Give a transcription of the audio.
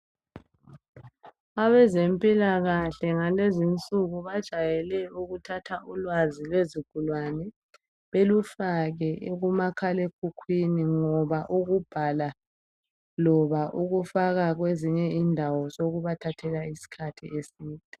Abezempilakahle ngalezi insuku bajwayele ukuthatha ulwazi lwezigulane belufake kumakhalekhukhwini ngoba ukubhala loba ukufaka kwezinye indawo sokubathathela isikhathi esinengi.